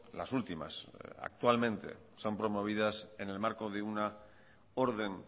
las últimas actualmente son promovidas en el marco de una orden